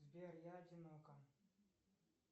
сбер я одинока